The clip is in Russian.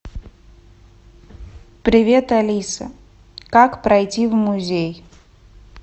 привет алиса как пройти в музей